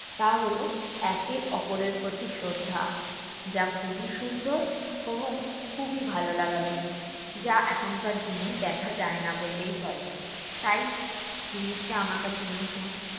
তা হলো একে অপরের প্রতি শ্রদ্ধা। যা খুবই সুন্দর এবং খুবই ভালো লাগার জিনিস। যা এখনকার দিনে দেখা যায়না বললেই চলে। তাই, জিনিসটা আমার কাছে নতুন